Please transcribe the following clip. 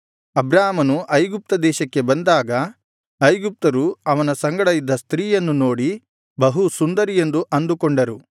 ಅಬ್ರಾಮನು ಐಗುಪ್ತ ದೇಶಕ್ಕೆ ಬಂದಾಗ ಐಗುಪ್ತರು ಅವನ ಸಂಗಡ ಇದ್ದ ಸ್ತ್ರೀಯನ್ನು ನೋಡಿ ಬಹು ಸುಂದರಿ ಎಂದು ಅಂದುಕೊಂಡರು